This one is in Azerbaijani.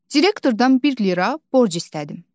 Direktordan bir lira borc istədim.